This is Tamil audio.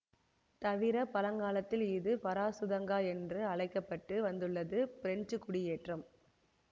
தவிர பழங்காலத்தில் இது ஃபராசுதங்கா என்று அழைக்க பட்டு வந்துள்ளதுபிரெஞ்சுக் குடியேற்றம்